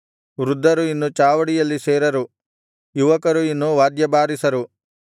ವೃದ್ಧರು ಇನ್ನು ಚಾವಡಿಯಲ್ಲಿ ಸೇರರು ಯುವಕರು ಇನ್ನು ವಾದ್ಯಬಾರಿಸರು